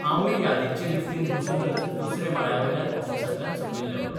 हांवूंय यादींचे लिफ्टींत बसूनच दुसरे माळयेवेल्यान ऑफिसांतल्यान सकयल देवलों....